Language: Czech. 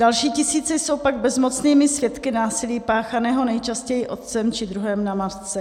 Další tisíce jsou pak bezmocnými svědky násilí páchaného nejčastěji otcem či druhem na matce.